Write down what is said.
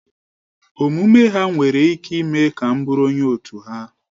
Omume ha nwere ike ime ka m bụụrụ onye otu ha.